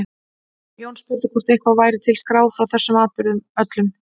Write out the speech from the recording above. Jón spurði hvort eitthvað væri til skráð frá þessum atburðum öllum.